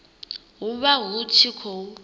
hu vha hu tshi khou